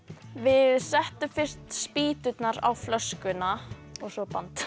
við settum fyrst spýturnar á flöskuna og svo band